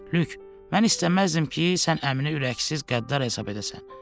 Lük, mən istəməzdim ki, sən əmini ürəksiz, qəddar hesab edəsən.